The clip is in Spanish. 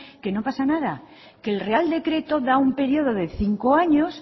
que no pasa nada que el real decreto da un periodo de cinco años